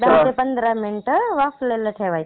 एक दहा ते पंधरा मिनिटे वाफवायला ठेवायची.